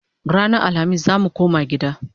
Ranan Alhamis zamu koma gida